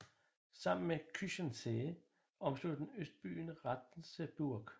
Sammen med Küchensee omslutter den øbyen Ratzeburg